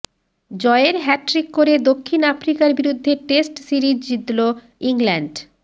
জয়ের হ্যাট্রিক করে দক্ষিণ আফ্রিকার বিরুদ্ধে টেস্ট সিরিজ জিতল ইংল্যান্ড